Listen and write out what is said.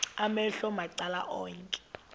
amehlo macala onke